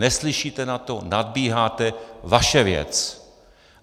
Neslyšíte na to, nadbíháte, vaše věc.